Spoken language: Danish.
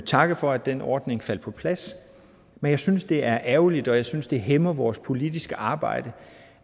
takke for at den ordning faldt på plads men jeg synes det er ærgerligt og jeg synes det hæmmer vores politiske arbejde